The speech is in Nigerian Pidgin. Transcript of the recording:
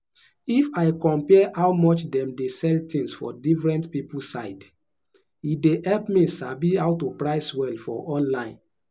if i compare how much dem dey sell things for different people side e dey help me sabi how to price well for online.